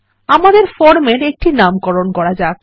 আমাদের ফর্মের একটি নামকরণ করা যাক